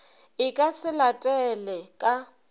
e ka se latele ka